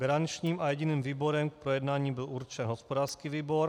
Garančním a jediným výborem k projednání byl určen hospodářský výbor.